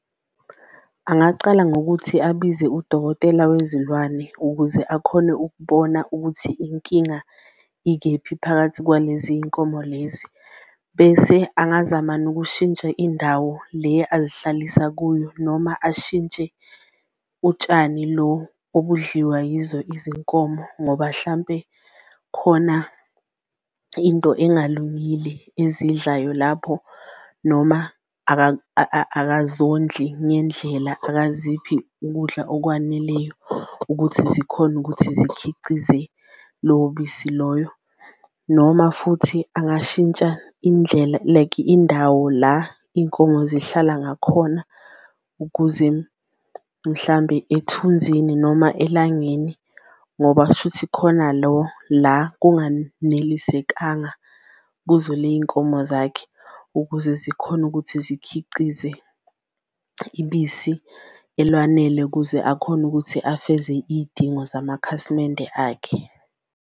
Angacala ngokuthi abize udokotela wezilwane ukuze akhone ukubona ukuthi inkinga ikephi phakathi kwalezi y'nkomo lezi bese angazama nokushintsha indawo le azihlalisa kuyo, noma ashintshe utshani lo obudliwa yizo izinkomo ngoba hlampe khona into engalungile eziyidlayo lapho. Noma akazondli ngendlela akaziphi ukudla okwaneleyo ukuthi zikhone ukuthi zikhicize lobisi loyo, noma futhi kungashintsha indlela like indawo la inkomo zihlala ngakhona, ukuze mhlambe emthunzini noma elangeni ngoba kushuthi khona lo la kunganelisekanga kuzo ley'nkomo zakhe. Ukuze zikhone ukuthi zikhicize ibisi elwanele ukuze akhone ukuthi afeze iy'dingo zamakhasimende akhe.